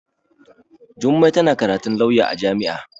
Jummai tana karatun lauya a jami'a.